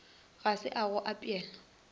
ga se a go apeela